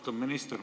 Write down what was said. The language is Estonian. Austatud minister!